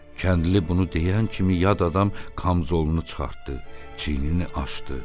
Kəndli bunu deyən kimi yad adam kamzolunu çıxartdı, çiynini açdı.